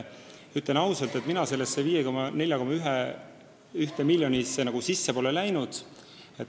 Ütlen ausalt, et mina sellesse 54,1 miljonisse nagu sisse pole läinud.